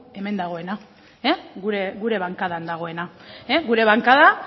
hemen dagoena gure bankadan dagoena gure bankada